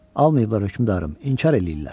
Almayıblar hökmdarım, inkar eləyirlər.